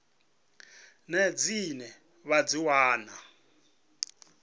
nnyi dzine vha dzi wana